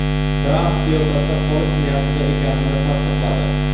Tramp siyosatda qolish niyatida ekanini tasdiqladi.